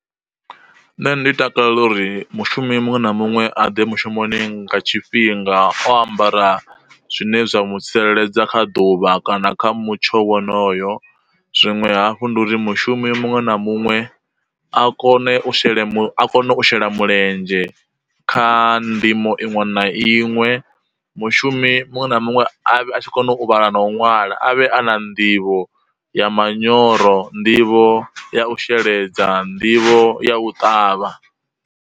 Nṋe ndi takalela uri mushumi muṅwe na muṅwe aḓe mushumoni nga tshifhinga o ambara zwine zwa mu tsireledza kha ḓuvha kana kha mutsho wonoyo, zwinwe hafhu ndi uri mushumi muṅwe na muṅwe a kone u shele a kone u shela mulenzhe kha ndimo iṅwe na iṅwe, mushumi muṅwe na muṅwe a vhe a tshi kona u vhala na u nwala, a vhe a na nḓivho ya manyoro, nḓivho ya u sheledza, nḓivho ya u ṱavha.